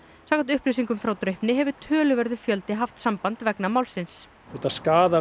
samkvæmt upplýsingum frá Draupni hefur töluverður fjöldi haft samband vegna málsins þetta skaðar